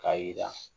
K'a yira